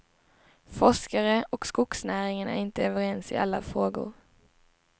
Forskare och skogsnäringen är inte överens i alla frågor.